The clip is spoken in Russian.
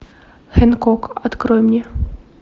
хэнкок открой мне